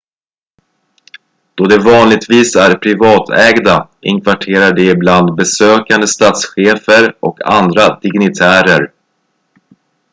då de vanligtvis är privatägda inkvarterar de ibland besökande statschefer och andra dignitärer